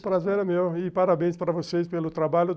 Um prazer é meu e parabéns para vocês pelo trabalho.